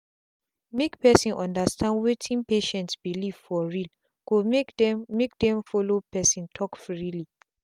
make person understand wetin patient belief for realgo make them make them follow person talk freely.